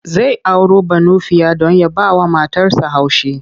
Zai auro Banufiya don ya bawa matarsa haushi.